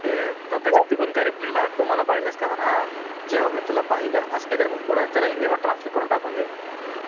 ते तर अता तिथून काय reply आला तू मला पाहिलंस का म्हणा आ, जेव्हा मी तुला पाहिले असते तर पुढं हिंदी मध्ये translate करून त्याला टाकून दे